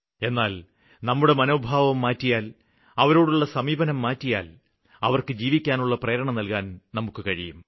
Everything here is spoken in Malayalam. എന്നാല് നമ്മുടെ മനോഭാവം മാറ്റിയാല് അവരോടുള്ള സമീപനം മാറ്റിയാല് അവര്ക്ക് ജീവിക്കാനുള്ള പ്രേരണ നല്കാന് നമുക്ക് കഴിയും